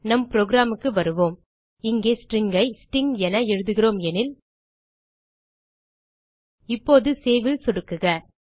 நம் புரோகிராம் க்கு வருவோம் இங்கே ஸ்ட்ரிங் ஐ ஸ்டிங் என எழுதுகிறோம் எனில் இப்போது சேவ் ல் சொடுக்குக